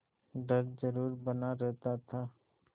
डर जरुर बना रहता था